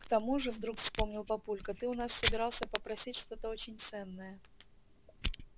к тому же вдруг вспомнил папулька ты у нас собирался попросить что-то очень ценное